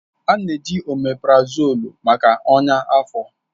A na-eji oméprazolú maka ọnya afọ